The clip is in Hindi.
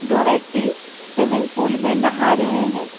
दो व्यक्ति स्विमिंग पूल मे नहा रहे है।